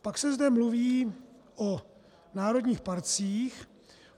Pak se zde mluví o národních parcích.